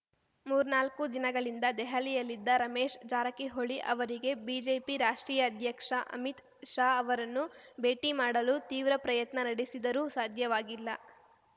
ಮೂರ್ನಾಲ್ಕು ದಿನಗಳಿಂದ ದೆಹಲಿಯಲ್ಲಿದ್ದ ರಮೇಶ್‌ ಜಾರಕಿಹೊಳಿ ಅವರಿಗೆ ಬಿಜೆಪಿ ರಾಷ್ಟ್ರೀಯ ಅಧ್ಯಕ್ಷ ಅಮಿತ್‌ ಶಾ ಅವರನ್ನು ಭೇಟಿ ಮಾಡಲು ತೀವ್ರ ಪ್ರಯತ್ನ ನಡೆಸಿದರೂ ಸಾಧ್ಯವಾಗಿಲ್ಲ